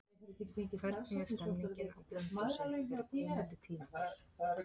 Hvernig er stemmingin á Blönduósi fyrir komandi tímabil?